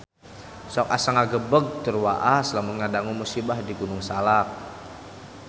Sok asa ngagebeg tur waas lamun ngadangu musibah di Gunung Salak